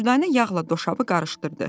Dürdanə yağla doşabı qarışdırdı.